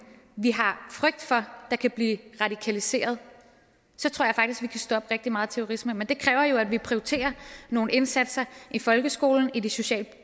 vi har frygt for kan blive radikaliseret kan stoppe rigtig meget terrorisme men det kræver jo at vi prioriterer nogle indsatser i folkeskolen og i de socialt